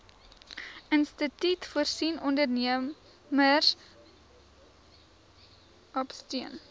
instituut voorsien ondernemerskapsteun